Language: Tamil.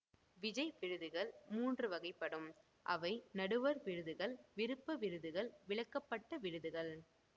விஜய் விருதுகள் மூன்று வகைப்படும் அவை நடுவர் விருதுகள் விருப்ப விருதுகள் விலக்கப்பட்ட விருதுகள்